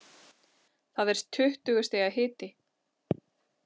Það er tuttugu stiga hiti.